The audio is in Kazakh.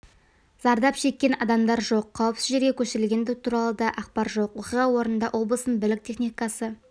зардап шеккен адамдар жоқ қауіпсіз жерге көшірілгендер туралы да ақпар жоқ оқиға орнында облыстың бірлік техникасы